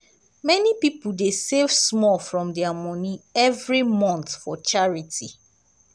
many people dey save small from their money every month for charity.